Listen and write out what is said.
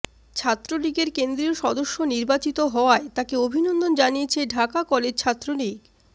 ছাত্রলীগের কেন্দ্রীয় সদস্য নির্বাচিত হওয়ায় তাকে অভিনন্দন জানিয়েছে ঢাকা কলেজ ছাত্রলীগ